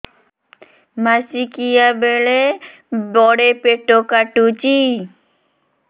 ମାସିକିଆ ବେଳେ ବଡେ ପେଟ କାଟୁଚି